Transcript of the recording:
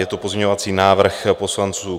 Je to pozměňovací návrh poslanců.